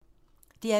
DR P2